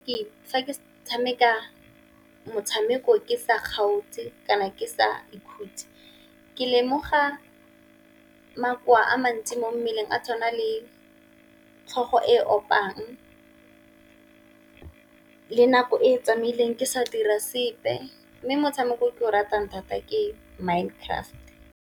Fa ke tshameka motshameko ke sa kgaotse kana ke sa ikhutse, ke lemoga makowa a mantsi mo mmeleng a tshwana le tlhogo e opang, le nako e tsamaileng ke sa dira sepe. Mme motshameko o ke o ratang thata ke Minecraft.